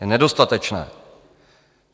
Je nedostatečné.